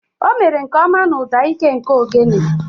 O mere nke ọma na ụda ike nke ogene.